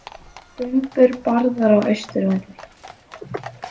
Bumbur barðar á Austurvelli